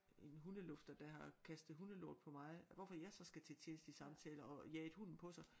En hundelufter der har kastet hundelort på mig hvorfor jeg så skal til tjenestelig samtale og jaget hunden på sig